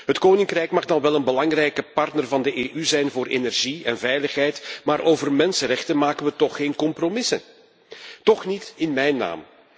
Het koninkrijk mag dan wel een belangrijke partner van de EU zijn voor energie en veiligheid, maar over mensenrechten maken we toch geen compromissen? Toch niet in mijn naam!